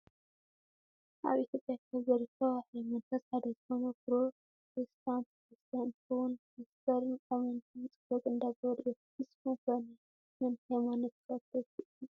ኣብ ኢትዮጵያ ካብ ዝርከባ ሃይማኖታት ሓደ ዝኮነ ፕሮቴስታንት ክርስትያን እንትከውን ፓስተርን ኣመንትን ፆሎት እንዳገበሩ እዮም። ንስኩም ከ ናይ መን ሃይማኖት ተከተልቲ ኢኩም?